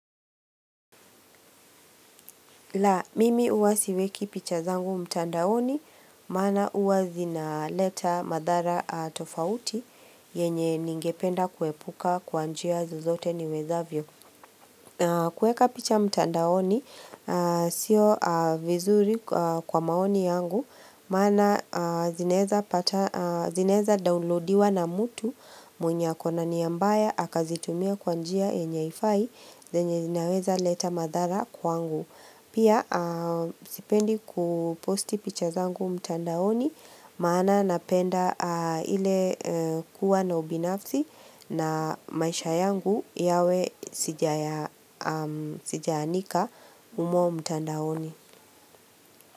La, mimi huwa siweki picha zangu mtandaoni, maana huwa zinaleta madhara tofauti, yenye ningependa kuepuka kwa njia zozote niwezavyo. Kueka picha mtandaoni, sio vizuri kwa maoni yangu, maana zinaeza downloadiwa na mtu mwenye akona nia mbaya, akazitumia kwa njia yenye haifai zenye zinaweza leta madhara kwangu Pia sipendi kuposti picha zangu mtandaoni Maana napenda ile kuwa na ubinafsi na maisha yangu yawe sijaanika humo mtandaoni.